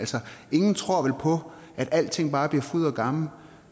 ingen tror vel på at alting bare bliver fryd og gammen